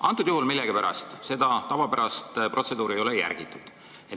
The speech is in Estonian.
Praegusel juhul millegipärast seda tavapärast protseduuri ei ole järgitud.